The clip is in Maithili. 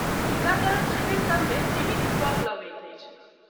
टीकाकरण शिविरसभ मे सीमित स्टॉक लगैत अछि।